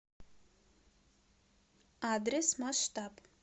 адрес масштаб